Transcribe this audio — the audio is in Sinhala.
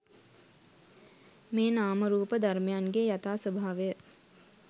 මේ නාම රූප ධර්මයන්ගේ යථා ස්වභාවය